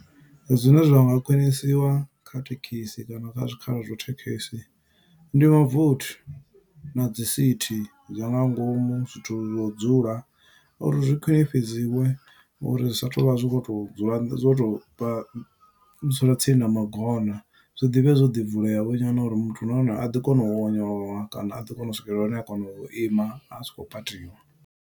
Zwine zwa nga khwinisiwa kha thekhisi kana kha zwikhala zwa thekhisi, ndi mavothi na dzi sithi zwa nga ngomu, zwithu zwo u dzula. Uri zwi khwiṋifhidziwe uri zwi sa tou vha zwi kho to u dzula nnḓa, dzo tou vha dzula tsini na magona. Zwi ḓivhe zwo ḓi vulea vho nyana uri muthu nahone a ḓo kona u onyolowa, kana a ḓi kona u swikelela hune a kona u ima, a si khou patiwa.